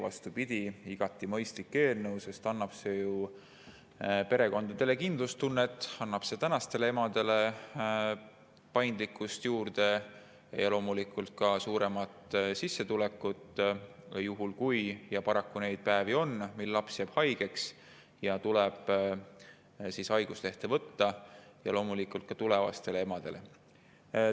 Vastupidi, see on igati mõistlik eelnõu, sest see annab ju perekondadele kindlustunnet, praegustele emadele juurde paindlikkust ja loomulikult ka suurema sissetuleku, juhul kui – paraku neid päevi on – laps jääb haigeks ja tuleb haiguslehte võtta, samuti tulevastele emadele.